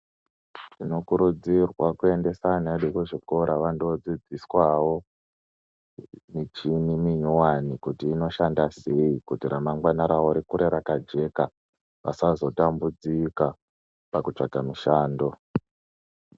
Tinokurudzirwa kuendesa ana edu kuzvikora vandodzidziswawo michini minyuwani kuti inoshanda sei, kuti ramangwani ravo rikure rakajeka kuti vasazotambudzika pakutsvaga mishando.